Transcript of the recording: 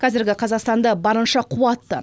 қазіргі қазақстанды барынша қуатты